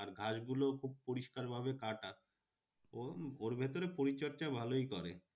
আর ঘাসগুলো খুব পরিষ্কার ভাবে কাটা। ওর ওর ভেতরে পরিচর্যা ভালোই করে।